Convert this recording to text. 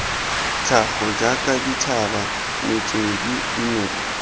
tlhago jaaka dithaba metswedi dinoka